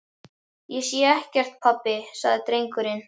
Ég sé ekkert pabbi, sagði drengurinn.